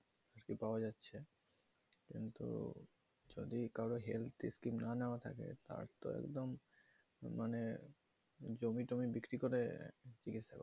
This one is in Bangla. কিন্তু যদি কারো health scheme না নেওয়া থাকে তার তো একদম মানে জমি টমি বিক্রি করে চিকিৎসা নিচ্ছে